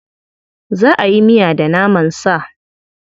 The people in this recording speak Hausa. Za a yi miya da naman sa.